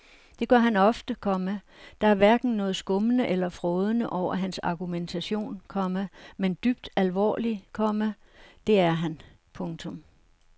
Det gør han ofte, komma der er hverken noget skummende eller frådende over hans argumentation, komma men dybt alvorlig, komma det er han. punktum